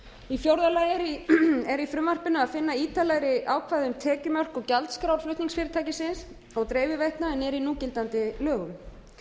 í fjórða lagi er í frumvarpinu að finna ítarlegri ákvæði um tekjumörk og gjaldskrá flutningsfyrirtækisins og dreifiveitna en er í núgildandi lögum